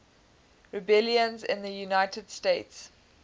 rebellions in the united states